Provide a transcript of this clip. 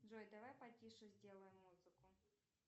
джой давай потише сделаем музыку